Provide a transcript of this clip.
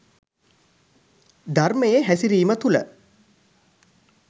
ධර්මයේ හැසිරීම තුළ